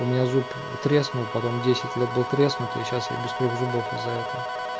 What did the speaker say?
у меня зуб треснул потом десять лет был треснутый и сейчас я без трёх зубов из-за этого